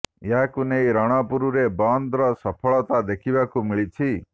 ଏହାକୁ ନେଇ ରଣପୁର ରେ ବନ୍ଦ ର ସଫଳତା ଦେଖିବାକୁ ମିଳିଛି